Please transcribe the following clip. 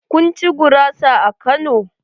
Kun ci gurasa a Kano?